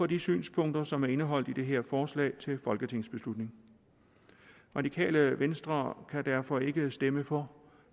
de synspunkter som er indeholdt i det her forslag til folketingsbeslutning radikale venstre kan derfor ikke stemme for